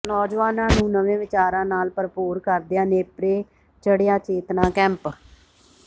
ਨੌਜਵਾਨਾਂ ਨੂੰ ਨਵੇਂ ਵਿਚਾਰਾਂ ਨਾਲ ਭਰਪੂਰ ਕਰਦਿਆਂ ਨੇਪਰੇ ਚੜਿ੍ਹਆ ਚੇਤਨਾ ਕੈਂਪ